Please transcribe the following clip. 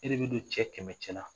E de bɛ don cɛ kɛmɛɲ cɛla